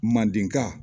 Mandenka